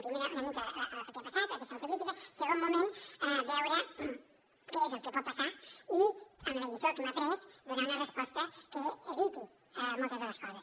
el primer era una mica el que ha passat aquesta autocrítica el segon moment veure què és el que pot passar i amb la lliçó que hem après donar una resposta que eviti moltes de les coses